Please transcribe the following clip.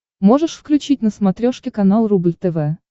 можешь включить на смотрешке канал рубль тв